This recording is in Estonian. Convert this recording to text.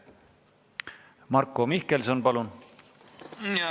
Marko Mihkelson, palun!